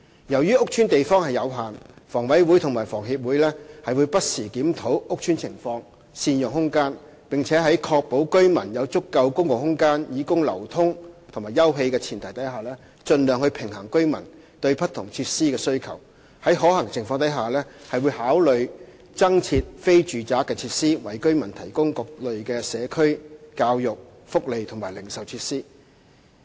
由於屋邨的地方有限，房委會和房協會不時檢討屋邨情況，善用空間，並在確保居民有足夠公共空間以供流通及休憩的前提下，盡量平衡居民對不同設施的需求，在可行的情況下會考慮增設非住宅設施，為居民提供各類社區、教育、福利及零售設施。